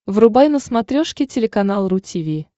врубай на смотрешке телеканал ру ти ви